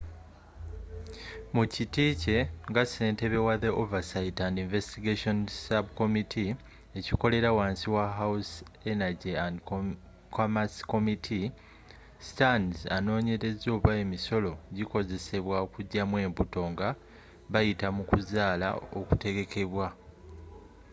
mukiti kye nga ssentebe wa the oversight and investigations subcommittee ekikolera wansi wa house energy and commerce committee stearns anooonyereza oba emisolo gikozesebwa okujjamu embuto nga bayita mu kuzaala okutegekeddwa